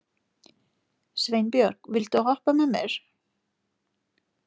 Sveinbjörg, viltu hoppa með mér?